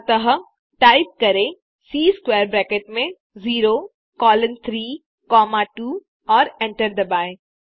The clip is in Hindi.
अतः टाइप करें सी स्क्वैर ब्रैकेट में 0 कोलोन 3 कॉमा 2 और एंटर दबाएँ